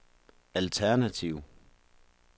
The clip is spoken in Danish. alternativ